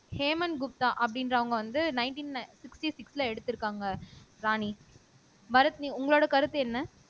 ஹேமந்த் குப்தா அப்படின்றவங்க வந்து nineteen sixty சிக்ஸ்ல எடுத்திருக்காங்க ராணி பரத் உங்களோட கருத்து என்ன